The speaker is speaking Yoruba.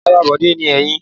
Ìyàrá Bọ̀dé ni èyí.